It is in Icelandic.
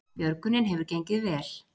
Björgunin hefur gengið vel